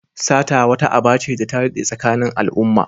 Sata wata aba ce da ta daɗe tsakanin al'umma.